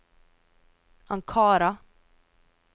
Ankara